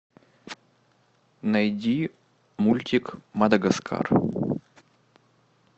найди мультик мадагаскар